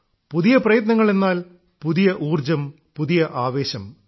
പുതിയ പ്രയത്നങ്ങൾ എന്നാൽ പുതിയ ഊർജ്ജം പുതിയ ആവേശം